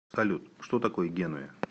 салют что такое генуя